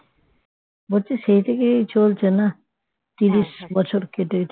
বলছি সেই থেকেই চলছে না তিরিশ বছর কেটে